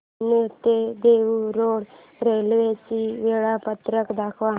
पुणे ते Dehu road railway चे वेळापत्रक दाखव